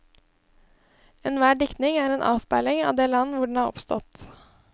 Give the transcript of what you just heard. Enhver diktning er en avspeiling av det land hvor den er oppstått.